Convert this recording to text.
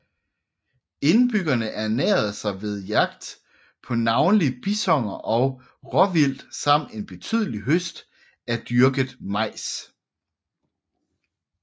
Indbyggerne ernærede sig ved jagt på navnlig bisoner og råvildt samt en betydelig høst af dyrket majs